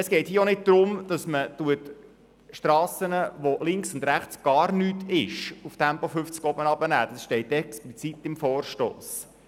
Es geht bei diesem Vorstoss nicht darum, auf Strassen, die durch Gebiete ohne Siedlungen führen, die Höchstgeschwindigkeit auf 50 km/h zu senken.